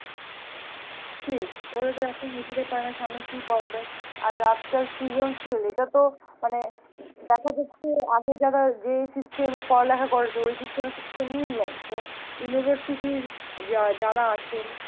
ঠিক ওরা তো এখন নিজেরাই পারে না সামনে কি পড়াবে? আর আজকাল সৃজনশীল এটা তো মানে দেখা যাচ্ছে আগে যারা যে system এ পড়ালেখা করেছে ওই system এর সাথে তো মিল নেই তো university র যা~ যারা আছে,